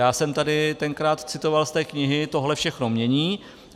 Já jsem tady tenkrát citoval z té knihy "tohle všechno mění".